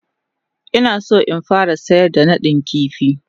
Ina so in fara sayar da nadin kifi.